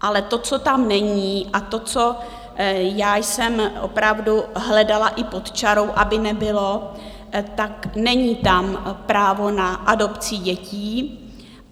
Ale to, co tam není, a to, co já jsem opravdu hledala i pod čarou, aby nebylo, tak není tam právo na adopci dětí.